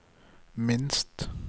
minst